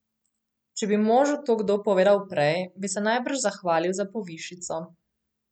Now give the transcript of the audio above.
Če bi možu to kdo povedal prej, bi se najbrž zahvalil za povišico.